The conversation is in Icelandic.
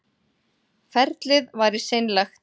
Ferlið væri seinlegt